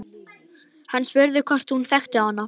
Hann spurði hvort hún þekkti hana.